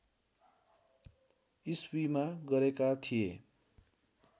इस्वीमा गरेका थिए